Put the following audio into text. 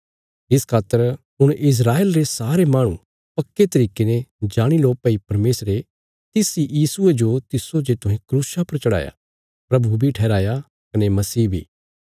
इस खातर हुण इस्राएल रे सारे माहणु पक्के तरिके ने जाणी लो भई परमेशरे तिस इ यीशुये जो तिस्सो जे तुहें क्रूसा पर चढ़ाया प्रभु बी ठहराया कने मसीह बी